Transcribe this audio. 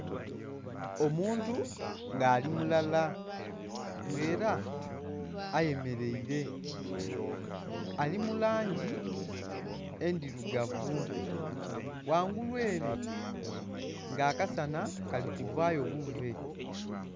Omuntu nga ali mulala nga era ayemeraire ali mulangi endhirugavu ghangulu ere nga akasana kali kuvayo buve.